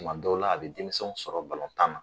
Kuma dɔw la a bɛ denmisɛnw sɔrɔ tan na.